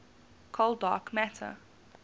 cold dark matter